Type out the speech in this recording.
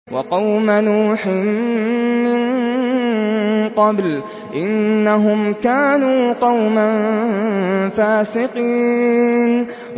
وَقَوْمَ نُوحٍ مِّن قَبْلُ ۖ إِنَّهُمْ كَانُوا قَوْمًا فَاسِقِينَ